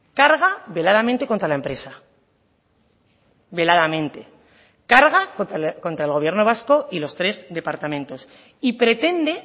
carga veladamente contra la empresa veladamente carga contra el gobierno vasco y los tres departamentos y pretende